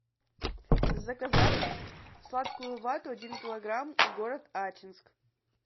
заказать сладкую вату один килограмм город ачинск